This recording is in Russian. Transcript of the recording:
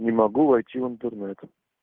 не могу войти в интернет